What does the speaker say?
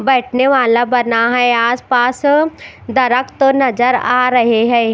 बैठने वाला बना है आस पास दरक्त नजर आ रहे है।